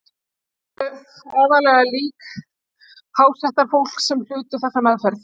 Það voru aðallega lík hástéttarfólks sem hlutu þessa meðferð.